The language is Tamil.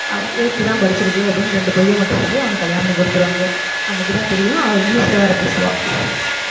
அவ eighth தான் படிச்சிருக்கு அப்படின்னு இரண்டு பொய்யை மட்டும் சொல்லி அவனுக்கு கல்யாணம் பண்ணி கொடுத்துடுவாங்க அன்னைக்குதான் தெரியும் அவ இங்கிலிஷ்ல வேற பேசுவா